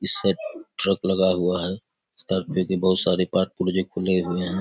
इस side truck लगा हुआ है तर्क में के बहुत सारे पार्ट पुर्जे खुले हुए हैं।